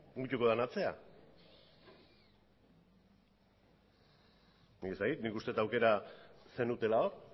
mugituko den atzean nik ez dakit nik uste dut aukera zenutela hor